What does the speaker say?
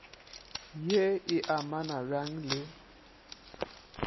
ye e amana bjang le